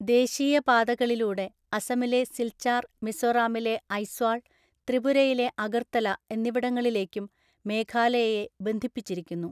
ദേശീയ പാതകളിലൂടെ അസമിലെ സിൽച്ചാർ, മിസോറാമിലെ ഐസ്വാൾ, ത്രിപുരയിലെ അഗർത്തല എന്നിവിടങ്ങളിലേക്കും മേഘാലയയെ ബന്ധിപ്പിച്ചിരിക്കുന്നു.